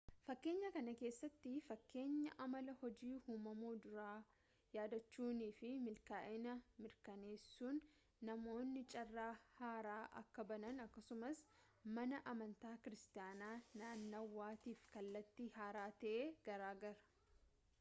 fakkeenya kana keessatti fakkeenya amala hojii uumummaa duraa yaadachuunii fi milkaa'ina mirkaneessuun namoonni carraa haaraa akka banan akkasumas mana amantaa kiiristaanaa naannawaatiif kallattii haaraa ta'e gargaara